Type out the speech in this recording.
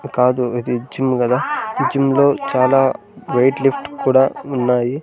కాదు ఇది జిమ్ కదా ఈ జిమ్ లో చాలా వెయిట్ లిఫ్టు కూడా ఉన్నాయి.